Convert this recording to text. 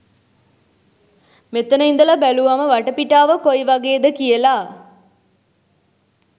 මෙතන ඉඳලා බැලුවම වටපිටාව කොයිවගේද කියලා